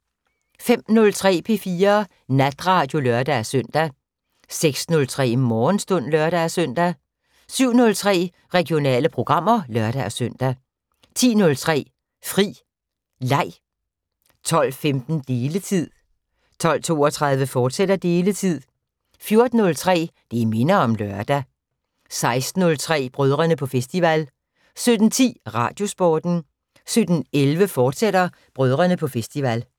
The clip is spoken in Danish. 05:03: P4 Natradio (lør-søn) 06:03: Morgenstund (lør-søn) 07:03: Regionale programmer (lør-søn) 10:03: Fri Leg 12:15: Deletid 12:32: Deletid, fortsat 14:03: Det minder om lørdag 16:03: Brødrene på festival 17:10: Radiosporten 17:11: Brødrene på festival, fortsat